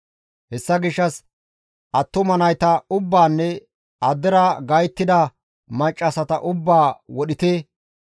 Hessa gishshas attuma nayta ubbaanne addera gayttida maccassata ubbaa wodhite.